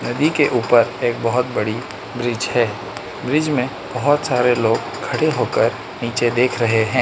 नदी के ऊपर एक बहोत बड़ी ब्रिज है ब्रिज में बहोत सारे लोग खड़े होकर नीचे देख रहे हैं।